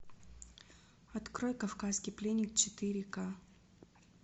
открой кавказский пленник четыре ка